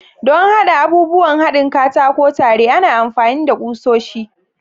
Don haɗa abubuwan haɗin katako tare, ana amfani da kusoshi.